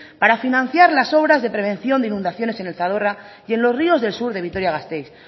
para financiar las obras de prevención de inundaciones en el zadorra y en los ríos del sur de vitoria gasteiz